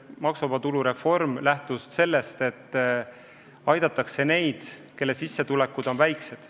Maksuvaba tulu reform lähtus sellest, et aidatakse neid, kelle sissetulekud on väiksed.